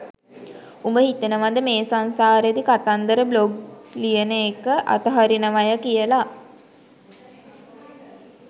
උඹ හිතනවද මේ සංසාරෙදි කතන්දර බ්ලොග් ලියන එක අතහරිනවය කියලා